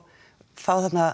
fá þarna